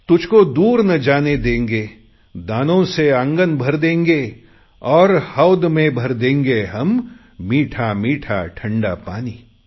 तुझको दूर न जाने देंगे दानों से आंगन भर देंगे और होद में भर देंगे हम मीठामीठा ठंडा पानी